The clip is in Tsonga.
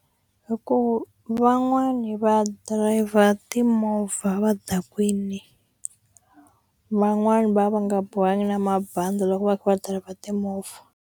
Hi ku van'wani va dirayivha timovha va dakwini van'wani va va nga bohangi na mabandi loko va kha va drive timovha.